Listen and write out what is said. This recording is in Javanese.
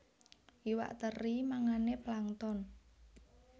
Iwak teri mangané plankton